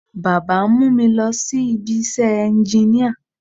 Baba ń mú mi lọ sí ibi iṣẹ́ ẹnginíà